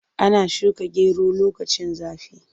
Ana shuka gero lokacin zafi.